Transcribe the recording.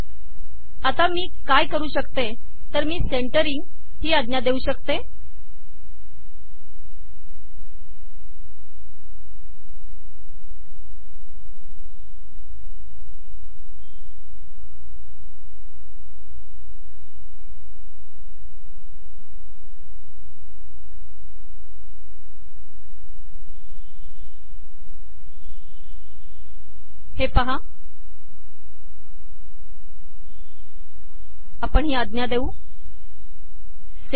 आता मी काय करु शकते तर मी सेंटरींग ही आज्ञा देऊ शकते